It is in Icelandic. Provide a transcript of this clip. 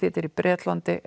þetta er í Bretlandi